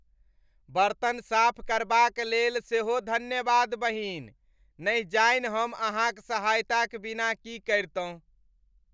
बर्तन साफ करबाक लेल सेहो धन्यवाद, बहिन। न जाने हम अहाँक सहायताक बिना की करितहुँ।